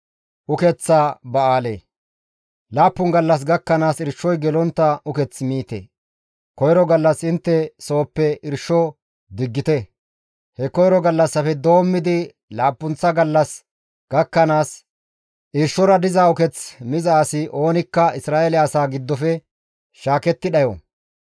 «Laappun gallas gakkanaas irshoy gelontta uketh miite; koyro gallas intte sooppe irsho diggite. He koyro gallassafe doommidi laappunththa gallas gakkanaas, irshora diza uketh miza asi oonikka Isra7eele asaa giddofe shaaketti dhayo.